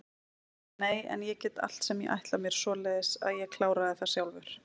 Nei en ég get allt sem ég ætla mér, svoleiðis að ég kláraði það sjálfur.